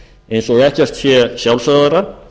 eins og ekkert sé sjálfsagðara